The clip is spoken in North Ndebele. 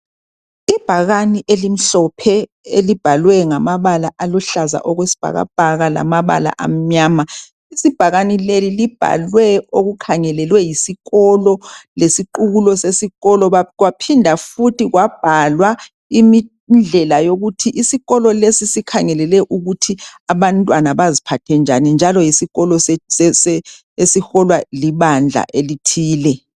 Ibhakane elimhlophe elibhalwe ngamabala aluhlaza okwesibhakabhaka lamabala amnyama. Ibhakane leli libhalwe okukhangelelwe yisikolo lesiqukulo sesikolo kwaphinda futhi kwabhalwa indlela yokuthi isikolo lesi sikhangelele ukuthi abantwana baziphathe njani njalo yisikolo sebandla elithile.